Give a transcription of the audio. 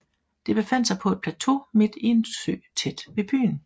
Det befandt sig på en plateau midt i en sø tæt ved byen